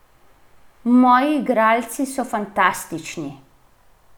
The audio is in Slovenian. Moji igralci so fantastični!